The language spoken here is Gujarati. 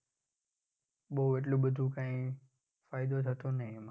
બઉ એટલું બધું કઈ ફાયદો થતો નહિ એમ.